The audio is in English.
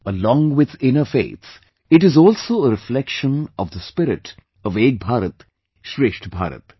Along with inner faith, it is also a reflection of the spirit of Ek Bharat Shreshtha Bharat